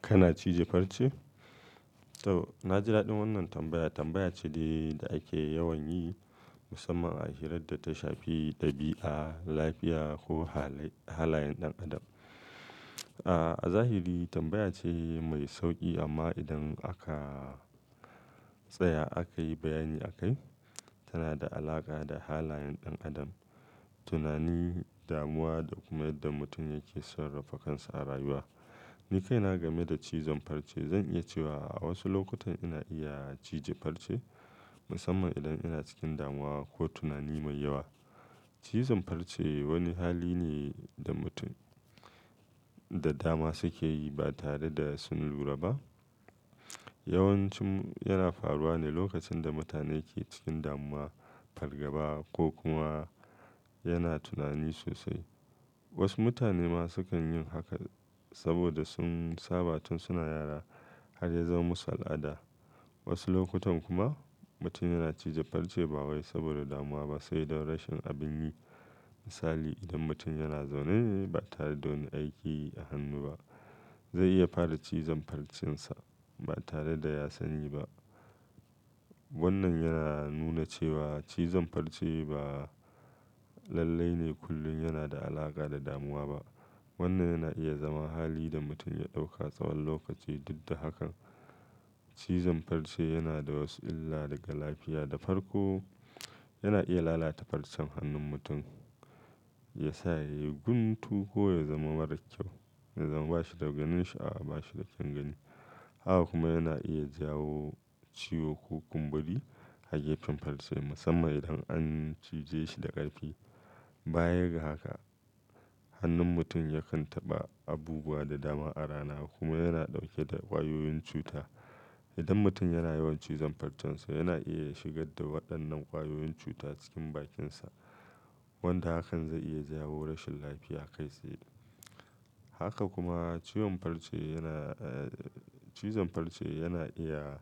Kana cije farce? To, na ji daɗin wannan tambaya. Tambaya ce da ake yawan yi musamman a hirar da ta shafi ɗabi'a, lafiya ko halayen ɗan adam. A zahiri tambaya ce mai sauƙi amma idan aka tsaya akayi bayani akai tana da alaƙa da halayen ɗan adam, tunani, damuwa da kuma yadda mutum yake son rafa kansa a rayuwa. Ni kai na game da cizon farce, zan iya cewa a wasu lokutan ina iya cije farce musamman idan ina cikin damuwa ko tunani mai yawa. Cizon farce wani hali ne da mutum da dama sukeyi ba tare da sun lura ba. Yawanci yana faruwa ne lokacin da mutane ke cikin damuwa, fargaba ko kuma yana tunani sosai. Wasu mutane ma sukan yin haka saboda sun saba tun suna yara har ya zama musu al'ada. Wasu lokutan kuma mutum yana cije farce ba wai saboda damuwa ba sai da rashin abin yi. Misali, idan mutum yana zaune ne ba tare da wani aiki a hannu ba zai iya fara cizon farcensa ba tare da ya sani ba. Wannan yana nuna cewa cizon farce ba lalle ne kullum yana da alaƙa da damuwa ba. Wannan yana iya zama hali da mutum ya ɗauka tsawon lokaci. Duk da haka, cizon farce yana da wasu illa daga lafiya. Da farko, yana iya lalata farcen hannun mutum ya sa ya yi guntu ko ya zama marar kyau, ya zama ba shi da gwanin shi a'awa ba shi da kyangani. Haka kuma yana iya jawo ciwo ko kumburi a gefen farce musamman idan an cije shi da ƙarfi. Bayaga haka, hannun mutum yakan taɓa abubuwa da dama a rana kuma yana ɗauke da ƙwayoyin cuta. Idan mutum yana yawan cizon farcensa yana iya shigar da waɗannan ƙwayoyin cuta cikin bakinsa wanda hakan zai iya jawo rashin lafiya kai tsaye. Haka kuma ciwon farce yana, cizon farce yana iya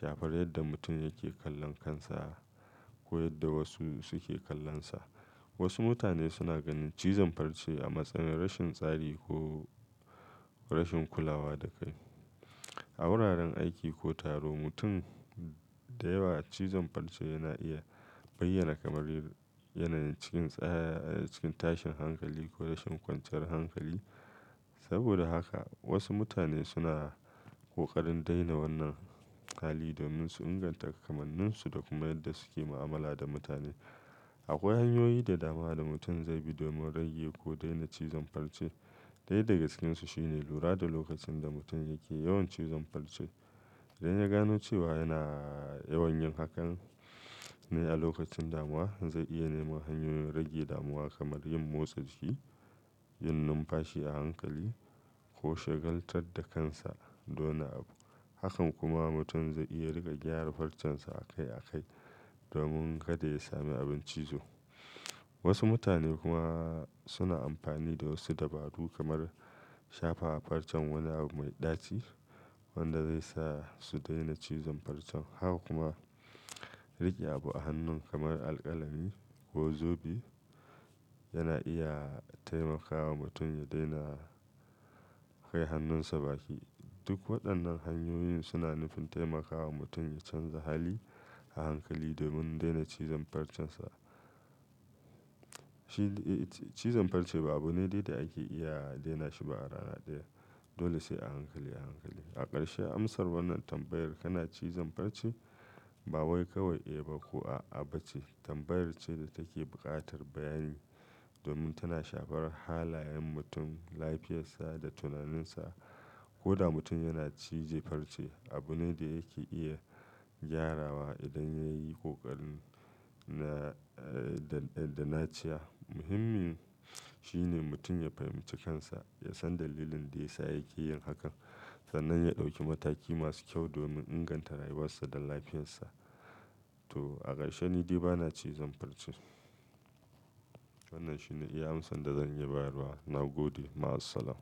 shafar yadda mutum yake kallon kansa ko yadda wasu suke kallonsa. Wasu mutane suna ganin cizon farce a matsayin rashin tsari ko rashin kulawa da kai. A wuraren aiki ko taro mutum da yawa cizon farce yana iya bayyana kamar yanayi cikin tsaya, cikin tashin hankali ko rashin kwanciyar hankali. Saboda haka wasu mutane suna ƙoƙarin daina wannan hali domin su inganta kamanninsu da kuma yadda suke mu'amala da mutane. Akwai hanyoyi da dama da mutum zai bi domin rage ko daina cizon farce. Ɗaya daga cikinsu shine lura da lokacin da mutum yake yawan cizon farce. Idan ya gano cewa yana yawan yin hakan ne a lokacin damuwa zai iya nema hanyoyin rage damuwa kamar yin motsa jiki, yin numfashi a hankali ko shagaltar da kansa da wani abu. Hakan kuma mutum zai iya riƙa gyara farcensa akai akai domin kada ya sami abin cizo. Wasu mutane kuma suna amfani da wasu dabaru kamar shafa farcen wani abu mai ɗaci wanda zai sa su daina cizon farce. Haka kuma riƙe abu a hannun kamar alƙalami ko zobe yana iya taimakawa mutum ya daina kai hannunsa baki. Duk waɗannan hanyoyin suna nufin taimakawa mutum ya canza hali a hankali domin daina cizon farcinsa. Cizon farce ba abu ne da ake iya daina shi ba a rana ɗaya dole sai a hankali a hankali. A ƙarshe amsar wannan tambayar kana cizon farce? Ba wai kawai eh ba ko a'a ba ce. Tambayar ce da take buƙatar bayani domin tana shafar halayen mutum, lafiyarsa da tunaninsa. Ko da mutum yana cije farce abu ne da yake iya gyarawa idan ya yi ƙoƙarin da na ce. Muhimmin shine mutum ya fahimci kansa, ya san dalilin da ya sa yake yin hakan sannan ya ɗauki mataki masu kyau domin inganta rayuwarsa da lafiyarsa. To a ƙarshe ni di ba na cizon farce. Wannan shine iya amsa da zan iya bayarwa. Na gode. Ma'asalam.